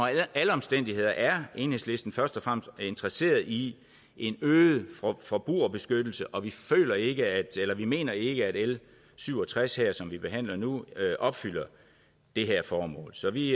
alle omstændigheder er enhedslisten først og fremmest interesseret i en øget forbrugerbeskyttelse og vi mener ikke at l syv og tres her som vi behandler nu opfylder det formål så vi